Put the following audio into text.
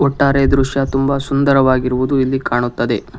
ಒಟ್ಟಾರೆಯಾಗಿ ಈ ದೃಶ್ಯ ತುಂಬಾ ಸುಂದರವಾಗಿ ಇರುವುದು ಇಲ್ಲಿ ಕಾಣುತ್ತದೆ.